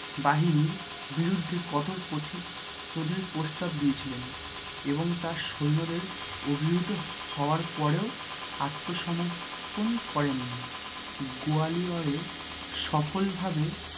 বাহিনীর বিরুদ্ধে কঠোর প্রস্তাব দিয়েছিলেন এবং তাঁর সৈন্যদের অভিরুত হওয়ার পরেও আত্মসমর্পণ করেন নি গয়ালিওরে সফল ভাবে